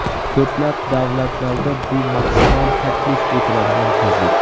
Ko‘plab davlatlarda bu maksimal taklif etiladigan tezlik.